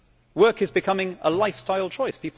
Work is becoming a lifestyle choice.